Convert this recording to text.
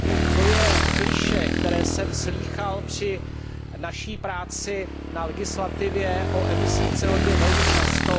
To je klišé, které jsem slýchal při naší práci na legislativě o emisích CO 2 velmi často.